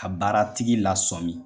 Ka baara tigi lasɔmin.